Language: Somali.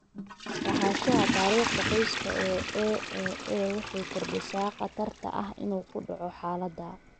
Lahaanshaha taariikhda qoyska ee AAA waxay kordhisaa khatarta ah inuu ku dhaco xaaladda.